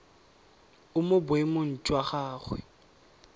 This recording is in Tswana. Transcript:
o mo boemong jwa gagwe